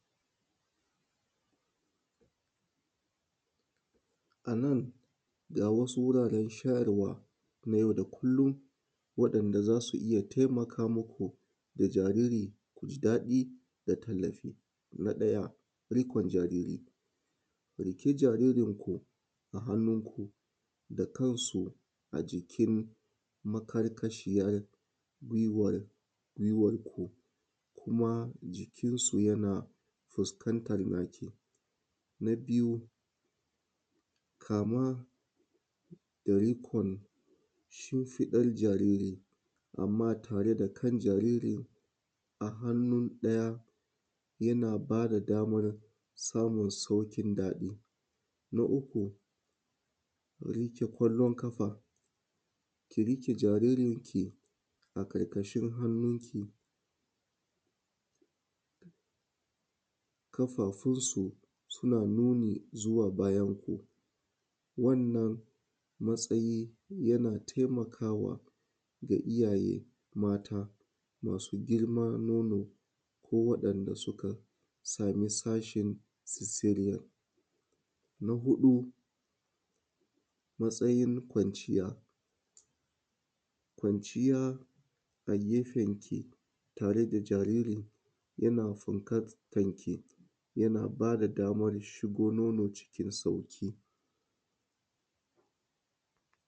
Anan ga wasun guraren shayarwa wanda za su iya taimaka ma jariri ya ji daɗi da talashi na ɗaya ruƙun jariri ɗauki jaririnku a hannunku da kansu a jikin makarkashiyan gwiwarku kuma fuskansu yana fuskantan naki na biyu kama da rukun shinfidan jariri anma tare da kan jaririn a hannun ɗaya yana bada sauƙin samun saukin daɗi na ta luru riƙe kwallon ƙafa ki riƙe jaririnki a ƙarƙashin hannunki ƙafafunki suna nuni zuwa bayanko wato hankali yana taimakawa wa iyaye mata masu girman nono ko wayanda suka sama sashin sisirya na huɗu matsayin kwanciya kwanciya a gefenki tare da jaririn yana fuskantanki yana bada dama shan nono cikin sauƙi